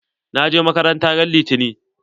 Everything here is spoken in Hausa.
Na je makaranta ran litani.